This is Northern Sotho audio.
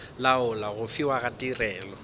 laola go fiwa ga tirelo